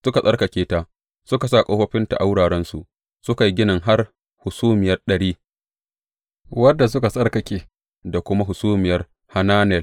Suka tsarkake ta, suka sa ƙofofinta a wurarensu, suka yi ginin har Hasumiyar Ɗari, wadda suka tsarkake, da kuma Hasumiyar Hananel.